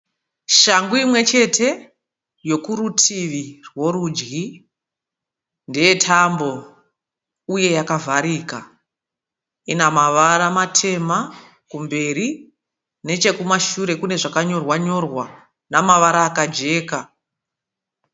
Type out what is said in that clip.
Shangu imwechete yokurutivi rworudyi. Ndeyetambo uye yakavharika. Inamavara matema kumberi. Nechekumashure kune zvakanyorwa-nyorwa nemavara akajeka.